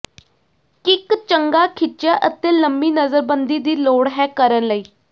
kick ਚੰਗਾ ਖਿੱਚਿਆ ਅਤੇ ਲੰਮੀ ਨਜ਼ਰਬੰਦੀ ਦੀ ਲੋੜ ਹੈ ਕਰਨ ਲਈ